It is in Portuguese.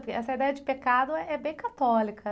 Porque essa ideia de pecado, eh, é bem católica....